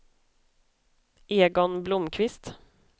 Egon Blomqvist